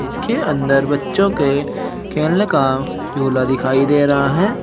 इसके अंदर बच्चों के खेलने का झूला दिखाई दे रहा है।